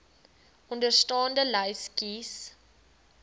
onderstaande lys kies